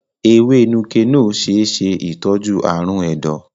Ewé Nuke-Noh ṣe é ṣe ìtọ́jú ààrùn ẹ̀dọ̀.